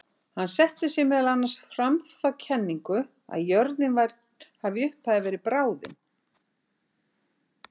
Hann setti meðal annars fram þá kenningu að jörðin hafi í upphafi verið bráðin.